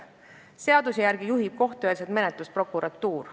Seaduse järgi juhib kohtueelset menetlust prokuratuur.